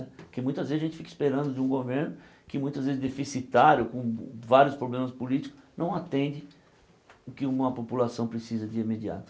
Porque muitas vezes a gente fica esperando de um governo que muitas vezes deficitário, com vários problemas políticos, não atende o que uma população precisa de imediato.